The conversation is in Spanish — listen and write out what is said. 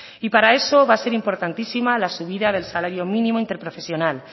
y para eso va a ser importantísima la subida del salario mínimo interprofesional